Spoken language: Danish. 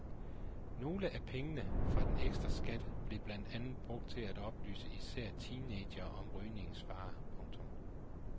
Nogle af pengene fra den ekstra skat blev blandt andet brugt til at oplyse især teenagere om rygningens farer. punktum